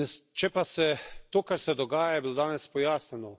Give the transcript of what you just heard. Če pa se, to kar se dogaja, je bilo danes pojasnjeno.